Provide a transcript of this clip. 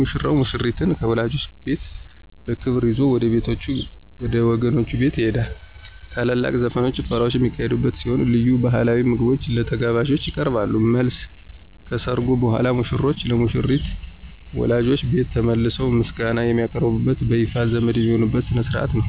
ሙሽራው ሙሽሪትን ከወላጆቿ ቤት በክብር ይዞ ወደ ወገኖቹ ቤት ይገባል። ታላላቅ ዘፈኖችና ጭፈራዎች የሚካሄዱ ሲሆን፣ ልዩ ባሕላዊ ምግቦች ለተጋባዦች ይቀርባሉ። መልስ : ከሠርጉ በኋላ ሙሽሮች ለሙሽሪት ወላጆች ቤት ተመልሰው ምስጋና የሚያቀርቡበትና በይፋ ዘመድ የሚሆኑበት ሥነ ሥርዓት ነው።